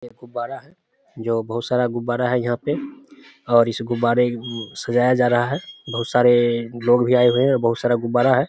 यह एक गुब्बारा हैं जो बोहोत सारा गुब्बारा यहां पै और इस गुब्बारा उ सजाया जा रहा है बोहोत सारे लोग भी आए हुए हैं बोहोत सारा गुब्बारा हैं।